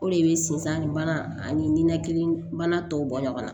O de bɛ sinzan ni mana ani ninakili bana tɔw bɔ ɲɔgɔn na